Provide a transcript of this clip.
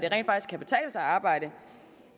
at arbejde